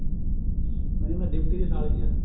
ਕਹਿੰਦੀ ਮੈਂ ਡਿਪਟੀ ਦੀ ਸਾਲੀ ਹਾਂ